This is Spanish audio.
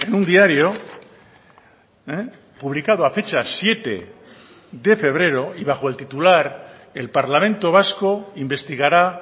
un diario publicado a fecha siete de febrero y bajo el titular el parlamento vasco investigará